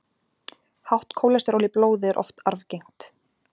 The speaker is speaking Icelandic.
Hátt kólesteról í blóði er oft arfgengt.